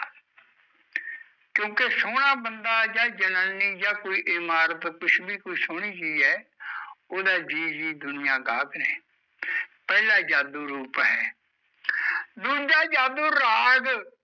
ਕਿਓਕਿ ਸੋਹਣਾ ਬੰਦਾ ਯਾ ਜਨਾਨੀ ਯਾ ਕੋਈ ਇਮਾਰਤ ਕੁਸ਼ ਵੀ ਕੋਈ ਸੋਹਣੀ ਚੀਜ਼ ਐ ਉਹਦਾ ਜੀਅ ਜੀਅ ਦੁਨੀਆ ਗਾਕ ਨੇ ਪਹਿਲਾਂ ਜਾਦੂ ਰੂਪ ਹੈ ਦੂਜਾ ਜਾਦੂ ਰਾਗ